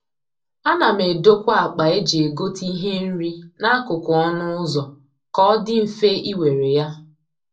A na m edokwa akpa eji egote ihe nri n'akụkụ ọnụ ụzọ ka ọ dị mfe ị were ya.